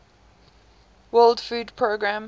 world food programme